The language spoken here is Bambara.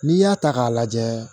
N'i y'a ta k'a lajɛ